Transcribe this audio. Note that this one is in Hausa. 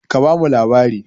Ka ba mu labari!